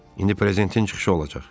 İndi prezidentin çıxışı olacaq.